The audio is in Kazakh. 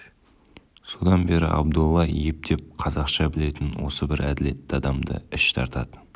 содан бері абдолла ептеп қазақша білетін осы бір әділетті адамды іш тартатын